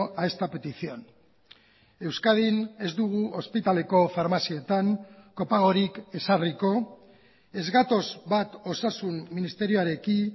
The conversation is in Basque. a esta petición euskadin ez dugu ospitaleko farmazietan kopagorik ezarriko ez gatoz bat osasun ministerioarekin